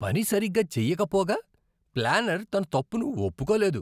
పని సరిగ్గా చేయకపోగా, ప్లానర్ తన తప్పును ఒప్పుకోలేదు.